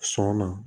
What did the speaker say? Sɔn na